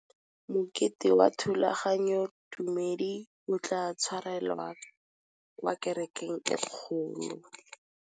Mokete wa thulaganyôtumêdi o tla tshwarelwa kwa kerekeng e kgolo.